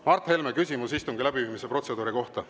Mart Helme, küsimus istungi läbiviimise protseduuri kohta.